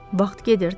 Vaxt gedirdi.